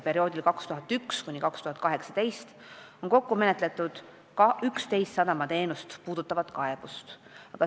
Perioodil 2001–2018 on kokku menetletud 11 sellist kaebust.